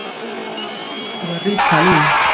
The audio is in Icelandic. En hvar var Ríta Lín?